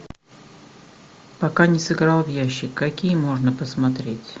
пока не сыграл в ящик какие можно посмотреть